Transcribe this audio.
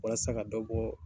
Walasa ka dɔ bɔ